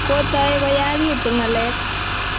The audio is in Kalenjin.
kotoi koyagitu ngalek .